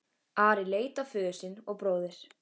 Ari leit á föður sinn og bróður.